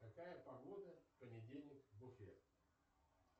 какая погода в понедельник в уфе